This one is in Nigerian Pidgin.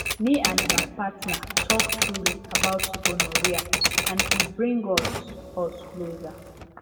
me and my partner talk truly about gonorrhea and e bring us us closer